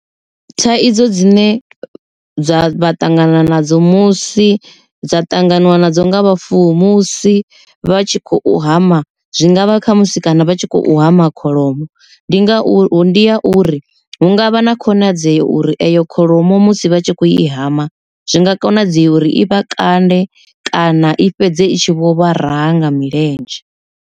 Thaidzo dzine dza vha ṱangana nadzo musi dza ṱanganiwa nadzo nga vhafuwi musi vha tshi khou hama zwi ngavha khamusi kana vha tshi khou hama kholomo. Ndi ngauri ndi ya uri hu ngavha na khonadzeo uri eyo kholomo musi vha tshi kho i hama, zwi nga konadzea uri i vha kande kana i fhedze itshi vho vha raha nga milenzhe.